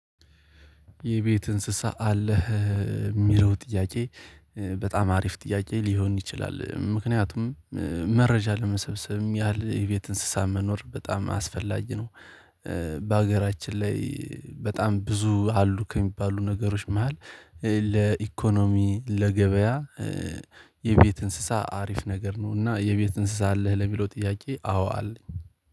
የቤት እንስሳ አለህ የሚለው ጥያቄ በጣም አሪፍ ጥያቄ ሊሆን ይችላል ምክንያቱም መረጃ ለመሰብሰብም ያህል የቤት እንስሳ መኖር በጣም አስፈላጊ ነው። በአገራችን ላይ በጣም ብዙ አሉ ከሚባሉ ነገሮች መሃል ለኢኮኖሚ ለገበያ የቤት እንስሳ አሪፍ ነገር ነው። እና የቤት እንስሳ አለህ ለሚለው ጥያቄ አዎ አለኝ